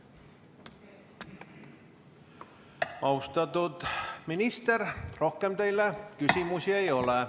Austatud minister, rohkem teile küsimusi ei ole.